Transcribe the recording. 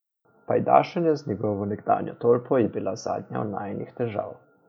Pajdašenje z njegovo nekdanjo tolpo je bila zadnja od najinih težav.